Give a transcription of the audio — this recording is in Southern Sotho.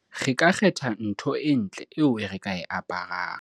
re ka kgetha ntho e ntle eo re ka e aparang